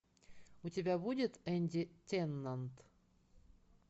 у тебя будет энди теннант